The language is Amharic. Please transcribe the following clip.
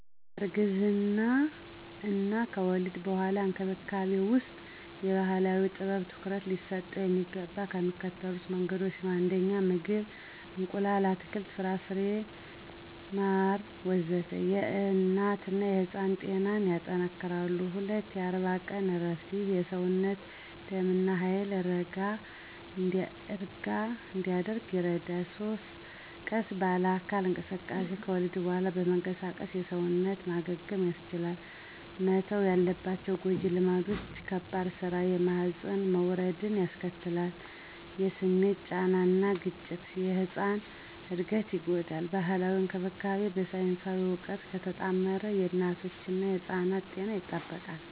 እርግዝና እና ከወሊድ በኋላ እንክብካቤ ውስጥ የባህላዊ ጥበብ ትኩረት ሊሰጠው የሚገባው በሚከተሉት መንገዶች ነው 1. ምግብ – እንቁላል፣ አትክልት፣ ፍራፍሬና ማር ወዘተ... የእናትና የሕፃን ጤናን ያጠነክራሉ። 2. የ40 ቀን እረፍት – ይህ የሰውነት ደም እና ኃይል ረጋ እንዲያደርግ ይረዳል። 3. ቀስ ባለ አካል እንቅስቃሴ – ከወሊድ በኋላ መንቀሳቀስ የሰውነት ማገገምን ያስቻላል። መተው ያለባቸው ጎጂ ልማዶች - ከባድ ሥራ (የማህፀን መውረድን ያስከትላል) - የስሜት ጫና እና ግጭት (የሕጻን እድገትን ይጎዳል) ባህላዊ እንክብካቤው በሳይንሳዊ እውቀት ከተጣመረ የእናቶችና ሕጻናት ጤና ይጠበቃል።